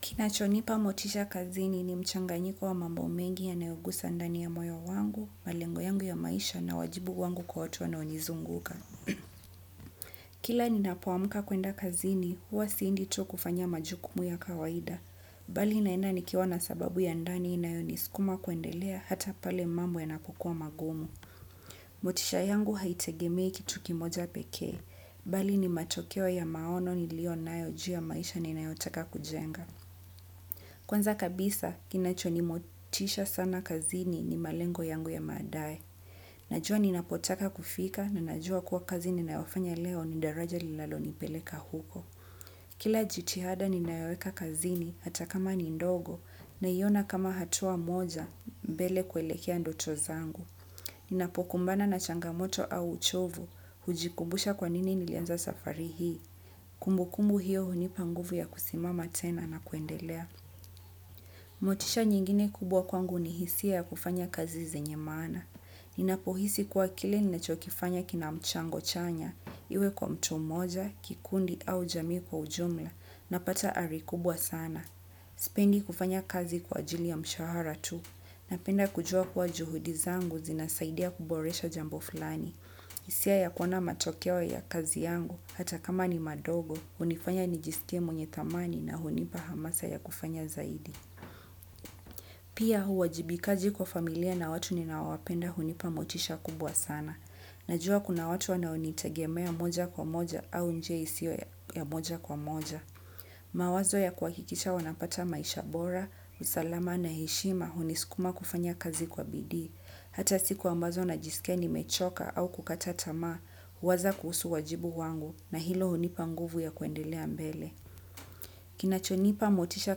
Kinachonipa motisha kazini ni mchanganyiko wa mambo mengi yanayo gusa ndani ya moyo wangu, malengo yangu ya maisha na wajibu wangu kwa watu wanonizunguka. Kila ninapoamka kwenda kazini huwa siendi tu kwa kufanya majukumu ya kawaida. Bali naenda nikiwa na sababu ya ndani inayonisikuma kuendelea hata pale mambo yanapo kuwa magumu. Motisha yangu haitegemei kitu kimoja pekee. Bali ni matokeo ya maono niliyo nayo juu ya maisha ninayo taka kujenga. Kwanza kabisa kinacho ni motisha sana kazini ni malengo yangu ya baadae. Najua ninapotaka kufika na najua kuwa kazi ninayo fanya leo ni daraja linalo nipeleka huko. Kila jitihada ninayoeka kazini hata kama ni ndogo naiona kama hatua moja mbele kuelekea ndoto zangu. Ninapokumbana na changamoto au uchovu hujikubusha kwa nini nilianza safari hii. Kumbukumbu hiyo hunipa nguvu ya kusimama tena na kuendelea. Motisha nyingine kubwa kwangu ni hisia ya kufanya kazi zenye maana. Ninapo hisi kuwa kile ninacho kifanya kinacho kifanaya kina mchango chanya iwe kwa mtu mmoja, kikundi au jamii kwa ujumla, napata ari kubwa sana. Sipendi kufanya kazi kwa ajili ya mshahara tu. Napenda kujua kuwa juhudi zangu zinasaidia kuboresha jambo fulani. Hisia ya kuona matokeo ya kazi yangu hata kama ni madogo, hunifanya ni jisikie mwenye dhamani na hunipa hamasa ya kufanya zaidi. Pia huu uwajibikaji kwa familia na watu ninawapenda hunipa motisha kubwa sana. Najua kuna watu wanao nitegemea moja kwa moja au njia isiyo ya moja kwa moja. Mawazo ya kuhakikisha wanapata maisha bora, usalama na heshima hunisukuma kufanya kazi kwa bidii. Hata siku ambazo najisika nimechoka au kukata tamaa, huwaza kuhusu wajibu wangu na hilo hunipa nguvu ya kuendelea mbele. Kinachonipa motisha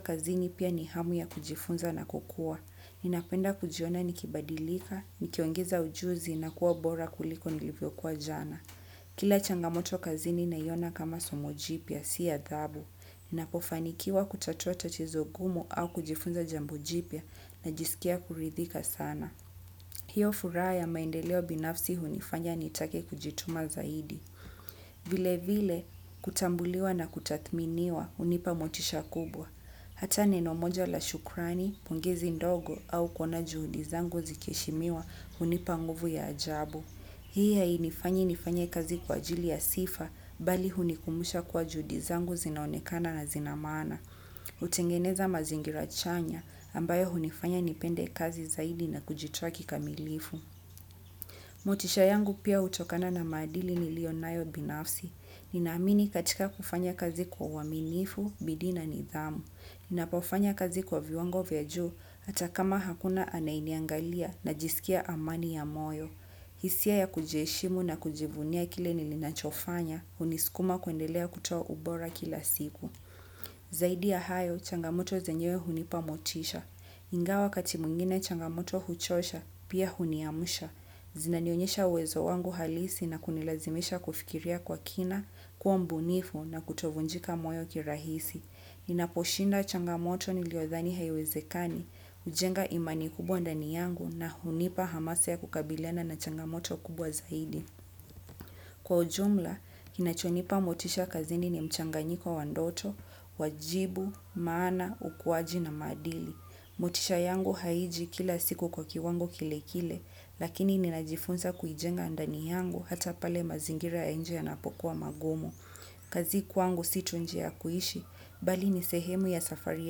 kazini pia ni hamu ya kujifunza na kukua. Ninapenda kujiona nikibadilika, nikiongeza ujuzi na kuwa bora kuliko nilivyo kuwa jana. Kila changamoto kazi ni naiona kama somo jipya, si adhabu. Ninapofanikiwa kutatua tatiizo ngumu au kujifunza jambo jipya najisikia kuridhika sana. Hiyo furaha ya maendeleo binafsi hunifanya nitake kujituma zaidi. Vile vile kutambuliwa na kutathminiwa hunipa motisha kubwa. Hata neno moja la shukrani, pongezi ndogo au kuona juhudi zangu zikeshimiwa hunipa nguvu ya ajabu. Hii hainifanyi nifanya kazi kwa ajili ya sifa, bali hunikumbusha kwa juhudi zangu zinaonekana na zinamaana. Hutengeneza mazingira chanya, ambayo hunifanya nipende kazi zaidi na kujitwaki kamilifu. Motisha yangu pia hutokana na maadili nilio nayo binafsi. Ninaamini katika kufanya kazi kwa uaminifu, bidii na nidhamu. Ninapofanya kazi kwa viwango vya juu hata kama hakuna anaye niangalia na jisikia amani ya moyo. Hisia ya kujeshimu na kujivunia kile nilinachofanya hunisikuma kuendelea kutoa ubora kila siku. Zaidi ya hayo changamoto zenyewe hunipa motisha. Ingawa wakati mwingine changamoto huchosha, pia huniamsha. Zinanionyesha uwezo wangu halisi na kunilazimisha kufikiria kwa kina, kuwa mbunifu na kutovunjika moyo kirahisi. Ninaposhinda changamoto niliyowadhani haiwezekani, hujenga imani kubwa ndani yangu na hunipa hamasa ya kukabiliana na changamoto kubwa zaidi. Kwa ujumla, kinachonipa motisha kazini ni mchanganyiko wa ndoto, wajibu, maana, ukuaji na maadili. Motisha yangu haiji kila siku kwa kiwango kile kile, lakini ninajifunza kuijenga ndani yangu hata pale mazingira ya nje yanapo kuwa magumu. Kazi kwangu si tu njia kuishi, bali ni sehemu ya safari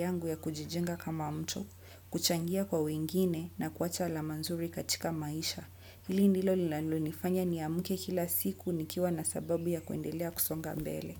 yangu ya kujijenga kama mtu, kuchangia kwa wengine na kuacha alama nzuri katika maisha. Hili ndilo linalo nifanya ni amke kila siku nikiwa na sababu ya kuendelea kusonga mbele.